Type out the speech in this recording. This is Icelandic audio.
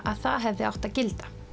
að það hefði átt að gilda